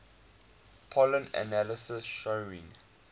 pollen analysis showing